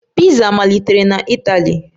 Piza malitere na Itali